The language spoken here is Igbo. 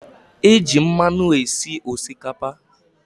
E j mmanụ esi Osikapa